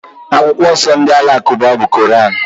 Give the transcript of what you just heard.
Akwụkwọ nsọ ndị Alakụba bụ Koran.